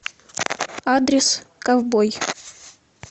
адрес ковбой